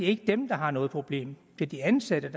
ikke dem der har noget problem det er de ansatte